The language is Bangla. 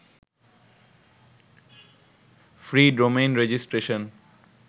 free domain registration